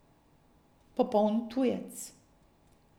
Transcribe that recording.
Popoln tujec.